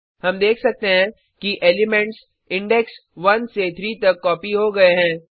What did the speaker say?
हम देख सकते हैं कि एलिमेंट्स इंडेक्स 1 से 3 तक कॉपी हो गये हैं